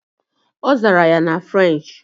Ọ zara ya na French.